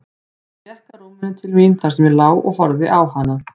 Hún gekk að rúminu til mín þar sem ég lá og horfði á hana.